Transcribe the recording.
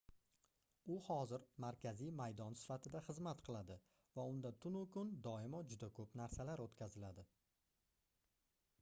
u hozir markaziy maydon sifatida xizmat qiladi va unda tunu-kun doimo juda koʻp narsalar oʻtkaziladi